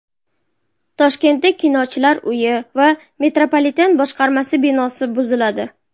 Toshkentda Kinochilar uyi va metropoliten boshqarmasi binosi buziladi.